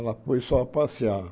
Ela foi só passear.